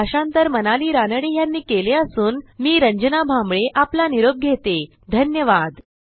हे भाषांतर मनाली रानडे यांनी केले असून मी रंजना भांबळे आपला निरोप घेतेधन्यवाद